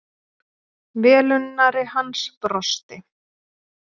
Velunnari hans brosti.